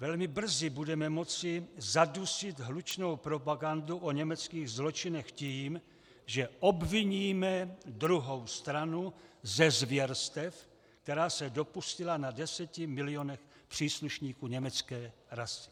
Velmi brzy budeme moci zadusit hlučnou propagandu o německých zločinech tím, že obviníme druhou stranu ze zvěrstev, která se dopustila na deseti milionech příslušníků německé rasy.